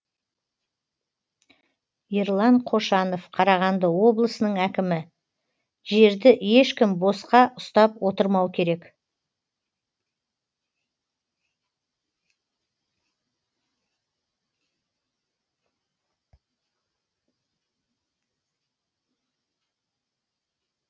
ерлан қошанов қарағанды облысының әкімі жерді ешкім босқа ұстап отырмау керек